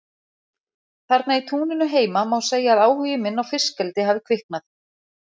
Þarna í túninu heima má segja að áhugi minn á fiskeldi hafi kviknað.